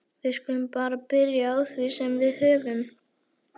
Við skulum bara byrja á því sem við höfum.